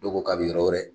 Dɔw ko k'a bɛ yɔrɔ wɛrɛ